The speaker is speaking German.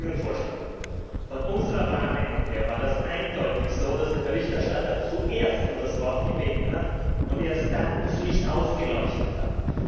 Ich mache Ihnen folgenden Vorschlag Von unserer Wahrnehmung her war das eindeutig so, dass der Berichterstatter zuerst um das Wort gebeten hat und erst dann das Licht aufgeleuchtet hat.